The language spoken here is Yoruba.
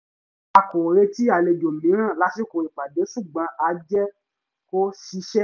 a kò retí àlejò mìíràn lásìkò ìpàdé ṣùgbọ̀n a jẹ́ kó ṣiṣẹ́